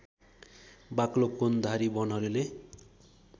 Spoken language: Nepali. बाक्लो कोणधारी वनहरूले